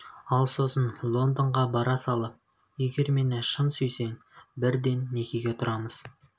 ал сосын лондонға бара салып егер мені шын сүйсең бірден некеге тұрамыз